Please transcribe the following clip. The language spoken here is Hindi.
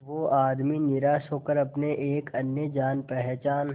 वो आदमी निराश होकर अपने एक अन्य जान पहचान